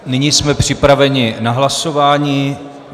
Nyní jsme připraveni na hlasování.